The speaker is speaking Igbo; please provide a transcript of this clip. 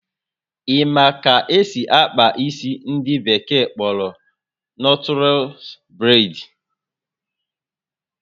Ị ma ka esị akpa isi ndị bekee kpọrọ nọtles braid?